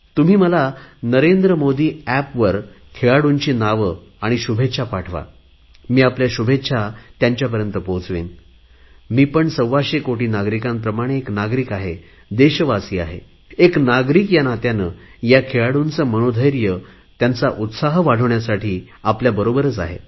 तुम्ही मला नरेंद्र मोदी एपवर खेळाडूंची नावे शुभेच्छा पाठवा मी आपल्या शुभेच्छा त्यांना पोहचवीन मी पण सव्वाशे कोटी नागरिकांप्रमाणे एक नागरिक आहे देशवासी आहे एक नागरिक या नात्याने या खेळांडूचे मनोधैर्य उत्साह वाढविण्यासाठी आपल्याबरोबर आहे